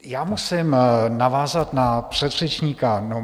Já musím navázat na předřečníka.